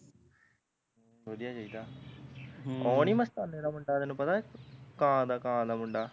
ਵਧੀਆ ਚਾਹੀਦਾ ਹਮ ਓਹ ਨੀ ਮਸਤਾਨੇ ਦਾ ਮੁੰਡਾ ਤੇਨੂੰ ਪਤਾ ਕਾਂ ਕਾਂ ਦਾ ਮੁੰਡਾ